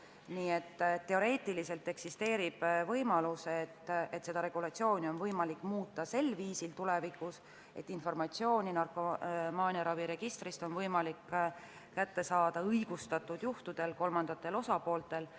Nii et teoreetiliselt eksisteerib võimalus, et seda regulatsiooni on võimalik tulevikus muuta sel viisil, et informatsiooni on narkomaaniaraviregistrist õigustatud juhtudel võimalik saada ka kolmandatel osapooltel.